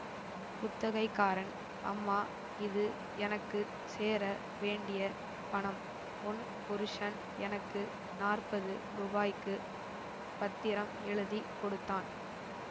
குத்தகைக்காரன் அம்மா இது எனக்கு சேர வேண்டிய பணம் உன் புருஷன் எனக்கு நாற்பது ருபாய்க்குப் பத்திரம் எழுதி கொடுத்தான்